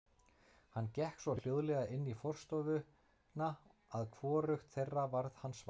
Hann gekk svo hljóðlega inn í forstofuna að hvorugt þeirra varð hans var.